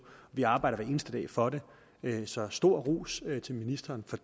vi arbejder hver eneste dag for det så stor ros til ministeren for